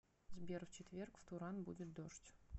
сбер в четверг в туран будет дождь